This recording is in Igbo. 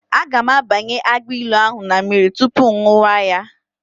Aga m abanye agbailu ahụ na mmiri tupu ṅụwa ya.